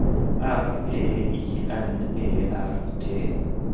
R E I N E R T